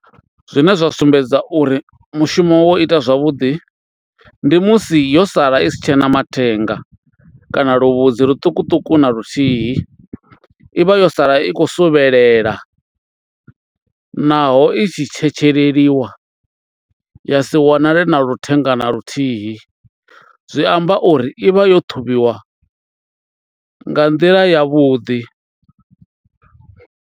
Zwine zwa sumbedza uri mushumo wo ita zwavhuḓi ndi musi yo sala i si tshena mathenga kana luvhudzi luṱukuṱuku na luthihi, i vha yo sala i khou suvhelela naho i tshi tshetsheleliwa ya si wanale na luthenga na luthihi zwi amba uri i vha yo ṱhuvhiwa nga nḓila ya vhuḓi.